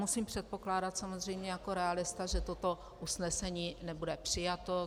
Musím předpokládat samozřejmě jako realista, že toto usnesení nebude přijato.